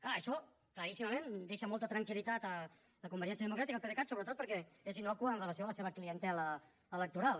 clar això claríssimament deixa molta tranquil·litat a convergència democràtica al pdecat sobretot perquè és innocu amb relació a la seva clientela electoral